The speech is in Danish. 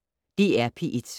DR P1